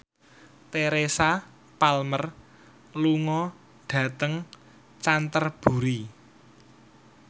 Teresa Palmer lunga dhateng Canterbury